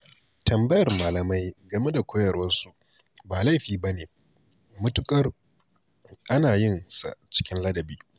Tambayar malamai game da koyarwarsu ba laifi ba ne, matuƙar ana yin sa cikin ladabi.